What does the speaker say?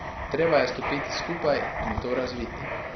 Treba je stopiti skupaj in to razviti.